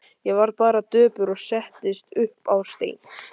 Ég varð bara döpur og settist upp á stein.